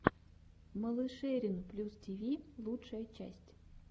малышерин плюс тиви лучшая часть